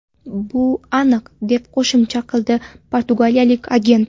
Bu aniq”, – deb qo‘shimcha qildi portugaliyalik agent.